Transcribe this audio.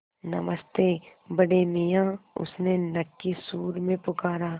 नमस्ते बड़े मियाँ उसने नक्की सुर में पुकारा